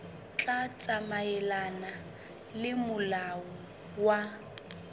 tla tsamaelana le molao wa